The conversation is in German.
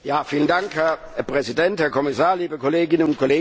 Herr Präsident, Herr Kommissar, liebe Kolleginnen und Kollegen!